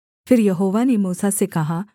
फिर यहोवा ने मूसा से कहा